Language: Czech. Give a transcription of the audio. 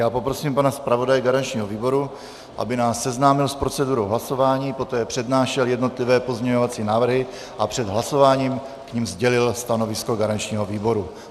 Já poprosím pana zpravodaje garančního výboru, aby nás seznámil s procedurou hlasování, poté přednášel jednotlivé pozměňovací návrhy a před hlasováním k nim sdělil stanovisko garančního výboru.